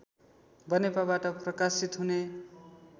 बनेपाबाट प्रकाशित हुने